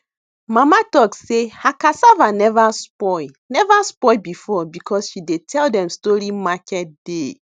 mama talk sey her cassava never spoill never spoill before because she dey tell dem story market day